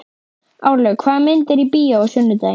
Árlaug, hvaða myndir eru í bíó á sunnudaginn?